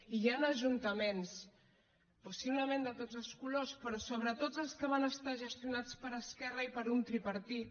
i hi han ajuntaments possiblement de tots els colors però sobretot els que van estar gestionats per esquerra i per un tripartit